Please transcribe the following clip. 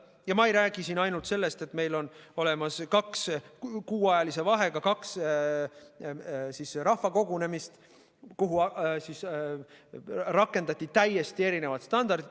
Ja ma ei räägi siin ainult sellest, et meil oli kuuajalise vahega kaks rahvakogunemist, kus rakendati täiesti erinevaid standardeid.